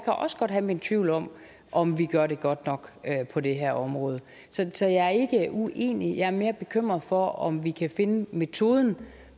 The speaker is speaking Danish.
også godt have mine tvivl om om vi gør det godt nok på det her område så jeg er ikke uenig jeg er mere bekymret for om vi kan finde metoden